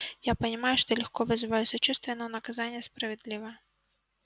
я понимаю что легко вызываю сочувствие но наказание справедливо